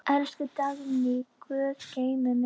Elsku Dagný, Guð geymi þig.